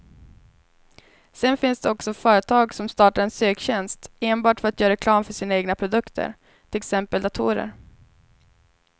Sedan finns det också företag som startar en söktjänst enbart för att göra reklam för sina egna produkter, till exempel datorer.